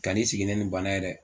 Kan'i sigi ne nin bana ye dɛ